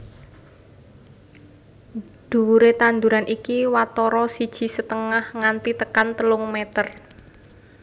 Dhuwuré tanduran iki watara siji setengah nganti tekan telung meter